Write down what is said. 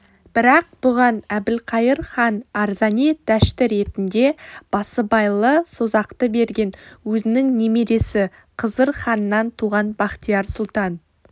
бірақ бұған әбілқайыр хан арзани даштіретінде басыбайлы созақты берген өзінің немересі қызыр ханнан туған бахтияр сұлтан